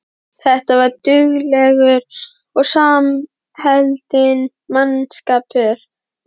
Þetta var duglegur og samheldinn mannskapur.